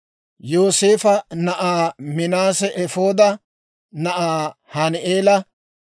Yooseefo na'aa Minaase Efooda na'aa Hani'eela;